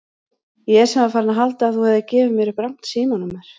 Ég sem var farinn að halda að þú hefðir gefið mér upp rangt símanúmer.